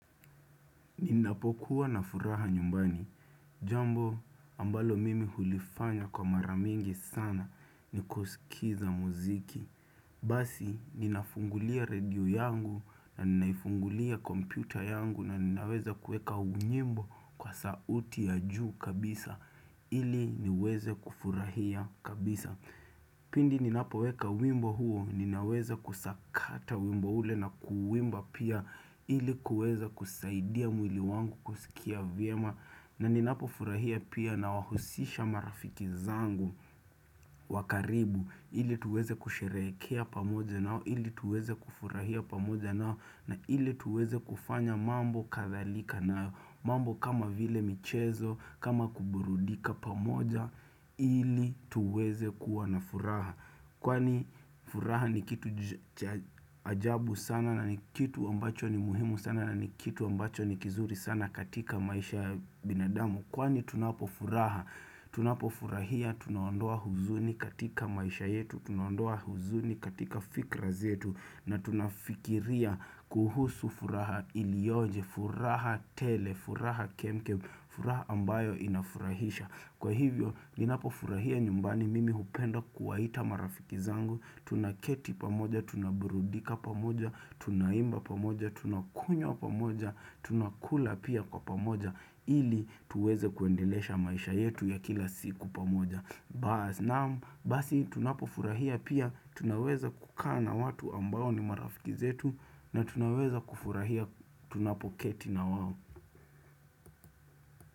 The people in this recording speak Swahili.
Ninapokuwa na furaha nyumbani. Jambo ambalo mimi hulifanya kwa maramingi sana ni kusikiza muziki. Basi, ninafungulia redio yangu na ninaifungulia kompyuta yangu na ninaweza kueka unyimbo kwa sauti ya juu kabisa ili niweze kufurahia kabisa. Pindi ninapoweka wimbo huo ninaweza kusakata wimbo ule na kuwimba pia ilikuweza kusaidia mwili wangu kusikia vyema na ninapo furahia pia na wahusisha marafiki zangu wakaribu ili tuweze kusherehekea pamoja nao ili tuweze kufurahia pamoja nao na ili tuweze kufanya mambo kadhalika na mambo kama vile michezo, kama kuburudika pamoja, ili tuweze kuwa na furaha. Kwani furaha ni kitu cha ajabu sana na ni kitu ambacho ni muhimu sana na ni kitu ambacho ni kizuri sana katika maisha ya binadamu. Kwani tunapofurahi, tunapofurahia, tunawandoa huzuni katika maisha yetu, tunawandoa huzuni katika fikra zetu na tunafikiria kuhusu furaha ilioje, furaha tele, furaha kemkem, furaha ambayo inafurahisha. Kwa hivyo, ninapo furahia nyumbani mimi hupenda kuwaita marafiki zangu, tunaketi pamoja, tunaburudika pamoja, tunaimba pamoja, tunakunywa pamoja, tunakula pia kwa pamoja, ili tuweze kuendelesha maisha yetu ya kila siku pamoja. Basi, tunapo furahia pia, tunaweza kukana watu ambao ni marafiki zetu, na tunaweza kufurahia tunapo keti na wawo.